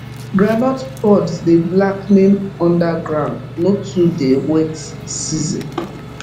groundnut pods dey blackening underground no too dey wet season